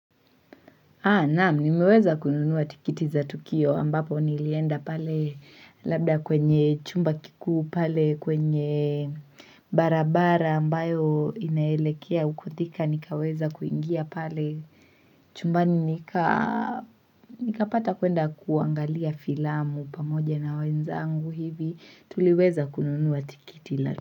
Naamu, nimeweza kununuwa tikiti za tukio ambapo nilienda pale labda kwenye chumba kikuu pale kwenye barabara ambayo inaelekea ukutika nikaweza kuingia pale chumbani nikapata kuenda kuangalia filamu pamoja na wenzangu hivi tuliweza kununuwa tikiti.